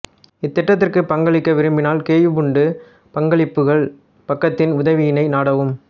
இத்திட்டத்திற்கு பங்களிக்க விரும்பினால் கேயுபுண்டு பங்களிப்புகள் பக்கத்தின் உதவியினை நாடவும்